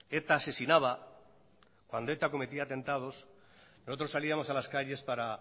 eta asesinaba cuando eta cometía atentados nosotros salíamos a las calles para